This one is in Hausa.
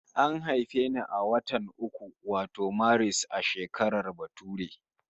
An haife ni a watan uku wato Maris, a shekarar bature